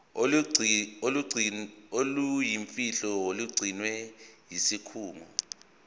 oluyimfihlo olugcinwe yisikhungo